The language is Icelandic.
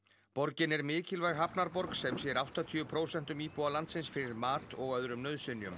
borgin er mikilvæg hafnarborg sem sér áttatíu prósentum íbúa landsins fyrir mat og öðrum nauðsynjum